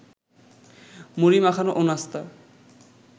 মুড়ি মাখানো ও নাস্তা